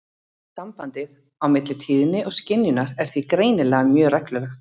Sambandið á milli tíðni og skynjunar er því greinilega mjög reglulegt.